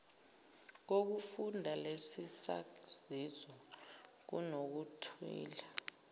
kokufunda lesisaziso kunokuthile